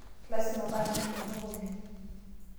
Lasima paa kemelok oleng.